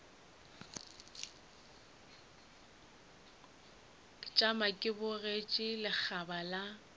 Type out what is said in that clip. tšama ke bogetše lekgaba la